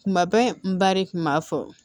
Kuma bɛɛ n ba de kun b'a fɔ